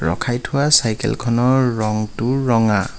ৰখাই থোৱা চাইকেলখনৰ ৰংটো ৰঙা।